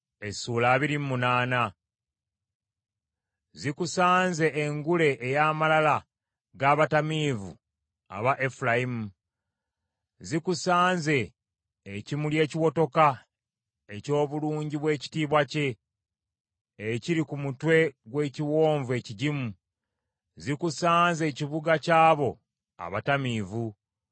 Zikusanze engule ey’amalala g’abatamiivu aba Efulayimu, zikusanze ekimuli ekiwotoka eky’obulungi bw’ekitiibwa kye, ekiri ku mutwe gw’ekiwonvu ekigimu, Zikusanze ekibuga ky’abo abatamiivu.